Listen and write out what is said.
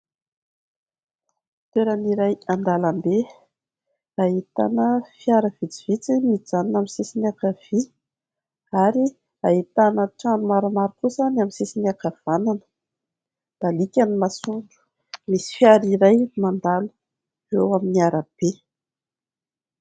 Toeran' iray an-dalambe. Ahitana fiara vitsivitsy mijanona amin'ny sisin'ny ankavia ary ahitana trano maromaro kosa amin'ny sisin'ny ankavanana. Mibaliaka ny masoandro, misy fiara iray mandalo eo amin'ny arabe.